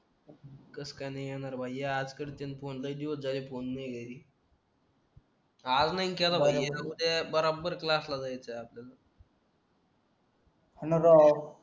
कसं काय ना येणार भाई ये आज करतय मी फोन लय दिवस झालंय फोन नाय घरी आज नाही केला भाई उद्या बराबर क्लासला जायचं आपल्याला